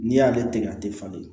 N'i y'ale tigɛ a tɛ falen